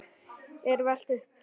er velt upp.